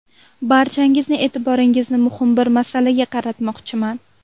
Barchangizning e’tiboringizni muhim bir masalaga qaratmoqchiman.